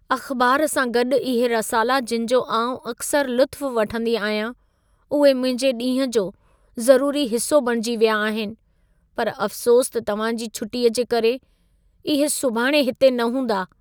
अख़बार सां गॾु इहे रसाला जिनि जो आउं अक्सरि लुत्फ़ु वठंदी आहियां, उहे मुंहिंजे ॾींहं जो ज़रूरी हिस्सो बणिजी विया आहिनि, पर अफ़सोसु त तव्हां जी छुटीअ जे करे, इहे सुभाणे हिते न हूंदा।